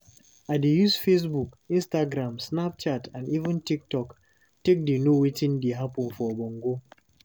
I dey use Facebook, Instagram, snapchat and even Tiktok take dey know wetin dey happen for Bongo.